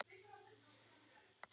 Það gaf mér mikinn styrk.